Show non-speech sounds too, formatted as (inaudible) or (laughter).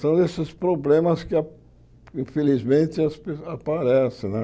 São esses problemas que a, infelizmente, as (unintelligible) aparecem né.